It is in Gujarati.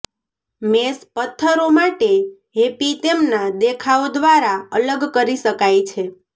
મેષ પત્થરો માટે હેપી તેમના દેખાવ દ્વારા અલગ કરી શકાય છે